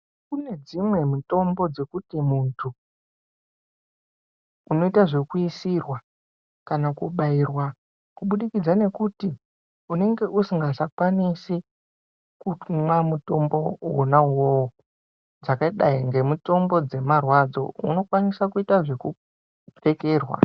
Kune dzimwe mitombo dzokuti muntu unoyita zvekuyisirwa kana kubayirwa, kubudikidza ngekuti unenge usingachakwanisi kumwa mutombo wona uwowo, dzakadayi ngemitombo dzemarwadzo, unokwanisa kuyita zvekupfekerwa.